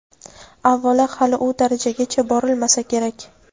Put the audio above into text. Avvalo, hali u darajagacha borilmasa kerak.